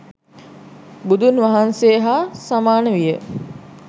බුදුන් වහන්සේ හා සමාන විය.